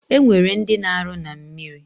Enwere ndi na aru na mmiri